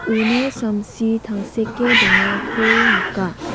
uno samsi tangseke dongako nika.